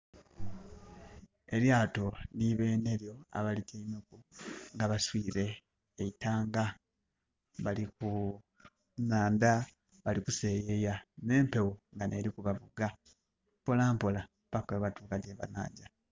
Elyaato ni benhelyo abalityaimeku, nga baswiile eitanga, nga bali ku nhandha bali kuseeyeya. N'empewo nga n'eli kubavuga mpola mpola paka bwebatuuka gyebanagya.